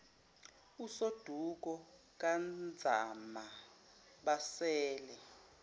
usoduko kanzama basele